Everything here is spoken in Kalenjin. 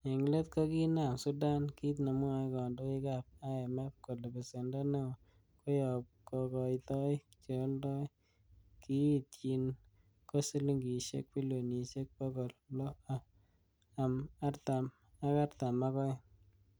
En let, kokinam Sudan kit nemwoe kondoik ab IMF ,kole besendo neo koyob kokoitoik che oldoi, kiiyityin ko silingisiek bilionisiek bogol loo am artaam ak oeng.